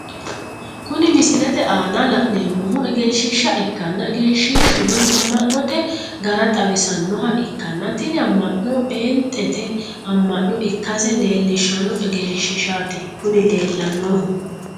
Kunni misilete aanna la'neemohu egenshiisha ikkanna egenshishuno ama'note gara xawisanoha ikanna tinni ama'nono peenxete ama'no ikase leelishano egenshiishati kunni leelanohu